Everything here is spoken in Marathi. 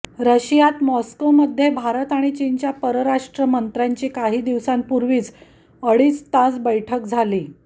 रशियात मॉस्कोमध्ये भारत आणि चीनच्या परराष्ट्र मंत्र्यांची काही दिवसांपूर्वीच अडीच तास बैठक झाली